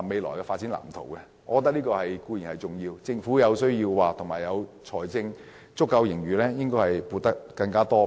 我認為這項撥款固然重要，但政府有需要在財政盈餘充裕的情況下，提供更多撥款。